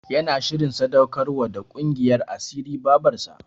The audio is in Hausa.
Yana shirin sadaukar wa da ƙungiyar asirin Babarsa.